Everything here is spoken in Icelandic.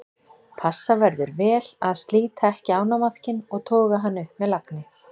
Passa verður vel að slíta ekki ánamaðkinn og toga hann upp með lagni.